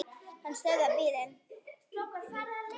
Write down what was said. Hann stöðvar bílinn.